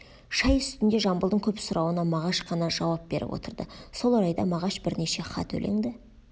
шай үстінде жамбылдың көп сұрауына мағаш қана жауап беріп отырды сол орайда мағаш бірнеше хат өлеңді